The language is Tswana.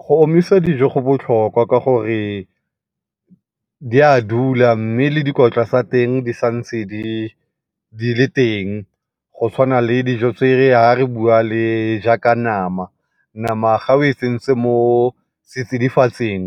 Go omisa dijo go botlhokwa ka gore di a dula mme le dikotla tsa teng di sa ntse di, di le teng go tshwana le dijo tse e le ga re bua le jaaka nama. Nama ga o e tsentse mo setsidifatsing